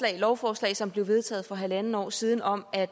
her lovforslag som blev vedtaget for halvandet år siden om at